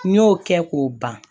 N y'o kɛ k'o ban